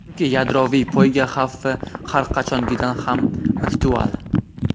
chunki yadroviy poyga xavfi har qachongidan ham aktual.